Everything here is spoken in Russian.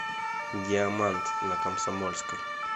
диамант на комсомольской